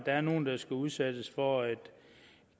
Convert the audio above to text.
er nogle der skal udsættes for et